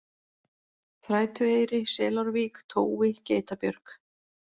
Þrætueyri, Selárvík, Tói, Geitabjörg